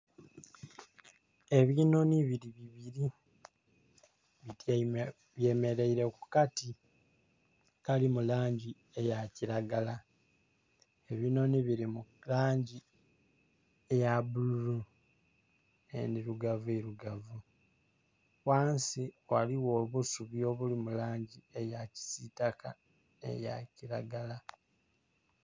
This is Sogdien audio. Ebinhonhi biri bibiri bye merere ku kati akali mulangi eya kilagala, ebinhonhi biri mu langi eya bululu nhe ndhirugavu irugavu, ghansi ghaligho obusubi obuli mu langi eya kisitaka nhe eya kilagala.